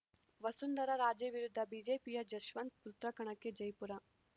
ವಸುಂಧರಾ ರಾಜೇ ವಿರುದ್ಧ ಬಿಜೆಪಿಯ ಜಸ್ವಂತ್‌ ಪುತ್ರ ಕಣಕ್ಕೆ ಜೈಪುರ